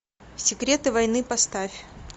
секреты войны поставь